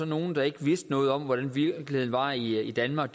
nogle der ikke vidste noget om hvordan virkeligheden var i danmark